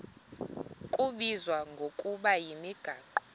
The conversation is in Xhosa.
kubizwa ngokuba yimigaqo